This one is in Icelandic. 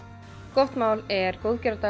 gott mál er